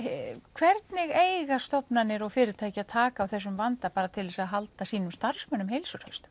hvernig eiga stofnanir og fyrirtæki að taka á þessum vanda bara til þess að halda sínum starfsmönnum heilsuhraustum